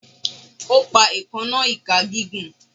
O pa eekanna ika gigun